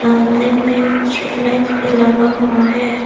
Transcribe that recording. सामने में street light भी लगा हुआ है।